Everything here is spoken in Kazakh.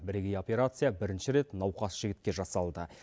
бірегей операция бірінші рет науқас жігітке жасалды